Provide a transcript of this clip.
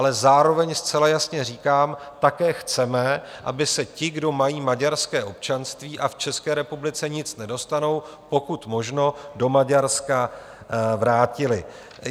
Ale zároveň zcela jasně říkám, také chceme, aby se ti, kdo mají maďarské občanství a v České republice nic nedostanou, pokud možno do Maďarska vrátili.